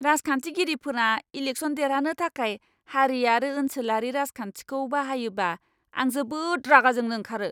राजखान्थिगिरिफोरा election देरहानो थाखाय हारि आरो ओनसोलारि राजखान्थिखौ बाहायोबा आं जोबोद रागाजोंनो ओंखारो!